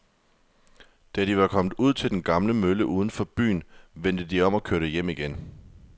Da de var kommet ud til den gamle mølle uden for byen, vendte de om og kørte hjem igen.